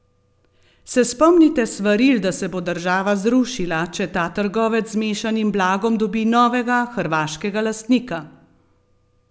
Se spomnite svaril, da se bo država zrušila, če ta trgovec z mešanim blagom dobi novega, hrvaškega lastnika?